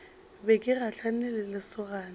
be ke gahlane le lesogana